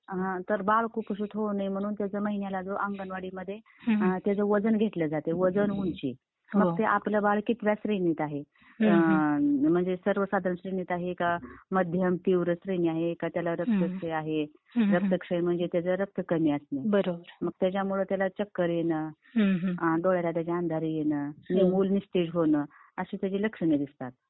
तर बाळ कुपोषित होऊ नये म्हणून त्याच महिन्याला वेळेस अंगणवाडीला त्याचं वजन घेतल जात. वजन, ऊंची. तर ते आपलं बाळ कितव्या श्रेणीत आहे? अं... म्हणजे सर्वसाधारण श्रेणीत आहे का? मध्यम, तीव्र श्रेणी आहे की त्याला रक्तक्षय आहे? रक्तक्षय म्हणजे त्याच्यात रक्त कमी असणं .. त्याच्या मुळे त्याला चक्कर येणं, अं... डोळ्याला त्याच्या अंधारी येणं , मुल निस्तेज होणं.अशी त्याची लक्षण दिसतात.